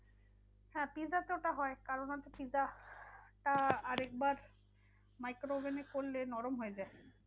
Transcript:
হ্যাঁ pizza তে ওটা হয়। কারণ হচ্ছে pizza টা আরেকবার micro oven এ করলে নরম হয়ে যায়।